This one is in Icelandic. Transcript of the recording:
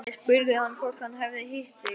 Ég spurði hann hvort hann hefði hitt þig